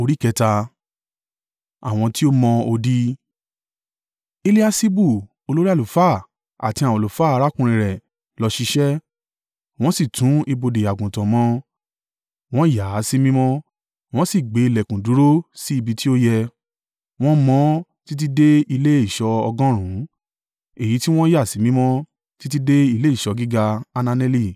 Eliaṣibu olórí àlùfáà àti àwọn àlùfáà arákùnrin rẹ̀ lọ ṣiṣẹ́, wọ́n sì tún ibodè Àgùntàn mọ. Wọ́n yà á sí mímọ́, wọ́n sì gbé ìlẹ̀kùn dúró sí ibi tí ó yẹ, wọ́n mọ ọ́n títí dé ilé ìṣọ́ ọgọ́rùn-ún, èyí tí wọ́n yà sí mímọ́ títí dé ilé ìṣọ́ gíga Hananeli.